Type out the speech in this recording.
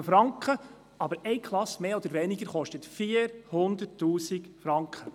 Eine Klasse kostet 400 000 Franken.